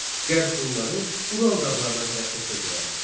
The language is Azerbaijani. Qərb Hunları Ural dağlarına tərəf çəkildilər.